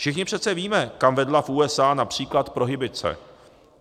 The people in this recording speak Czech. Všichni přece víme, kam vedla v USA například prohibice.